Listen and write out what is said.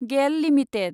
गेल लिमिटेड